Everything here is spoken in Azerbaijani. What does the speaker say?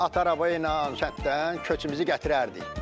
At arabayla sətdən köçümüzü gətirərdik.